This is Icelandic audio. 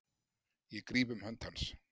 Ég gríp um hönd hans.